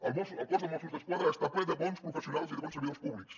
els cos de mossos d’esquadra està ple de bons professionals i de bons servidors públics